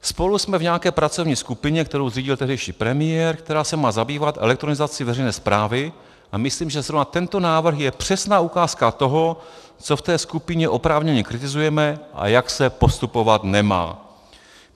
Spolu jsme v nějaké pracovní skupině, kterou zřídil tehdejší premiér, která se má zabývat elektronizací veřejné správy, a myslím, že zrovna tento návrh je přesná ukázka toho, co v té skupině oprávněně kritizujeme a jak se postupovat nemá.